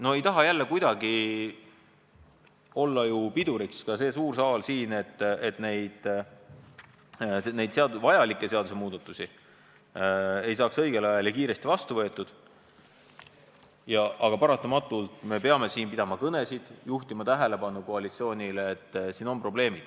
No ei taha jälle kuidagi piduriks olla, et vajalikud seadusemuudatused ei saaks õigel ajal ja kiiresti vastu võetud, aga paratamatult peame me pidama kõnesid ja juhtima koalitsiooni tähelepanu sellele, et siin on probleemid.